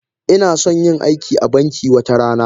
Ina son yin aiki a banki wata rana.